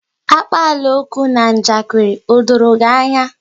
Akpalaokwu na njakiri, o doro gị anya?